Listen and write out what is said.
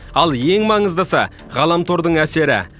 ал ең маңыздысы ғаламтордың әсері